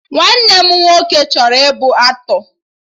Nwanne m nwoke chọrọ ịbụ aktọ